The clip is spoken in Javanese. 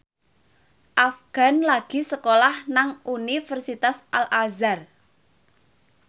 Afgan lagi sekolah nang Universitas Al Azhar